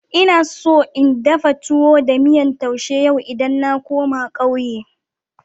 Ina so in dafa towo da miyan tousha yau idan na koma ƙauye.